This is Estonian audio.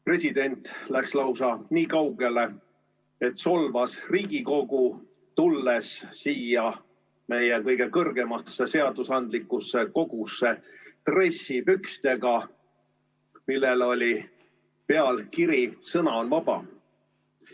President läks lausa niikaugele, et solvas Riigikogu, tulles siia meie kõige kõrgemasse seadusandlikku kogusse dressipluusiga, millel oli peal kiri "Sõna on vaba".